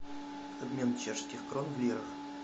обмен чешских крон в лирах